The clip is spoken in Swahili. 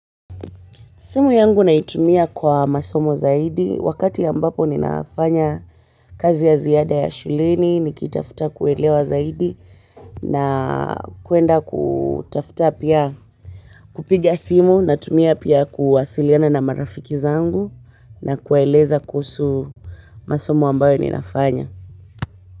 Simu yangu naitumia kwa masomo zaidi. Wakati ambapo ninafanya kazi ya ziada ya shuleni, nikitafuta kuelewa zaidi na kwenda kutafuta pia kupiga simu na tumia pia kuwasiliana na marafiki zangu na kuwaeleza kuhusu masomo ambayo ninafanya.